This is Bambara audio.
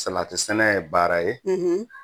Salatisɛnɛ ye baara ye